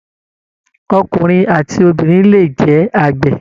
Ọkùnrin àti obìnrin le jẹ àgbẹ̀